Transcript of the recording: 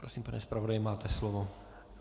Prosím, pane zpravodaji, máte slovo.